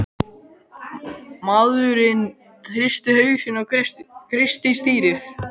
Maðurinn hristi hausinn og kreisti stýrið.